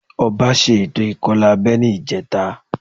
Ọba ṣe ètò ìkọlà abẹ́ ní ìjẹta